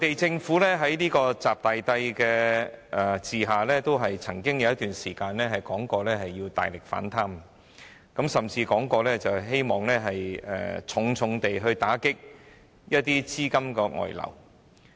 在"習大帝"的管治下，內地政府曾有一段時間表示要大力反貪，甚至表示希望大力打擊資金外流。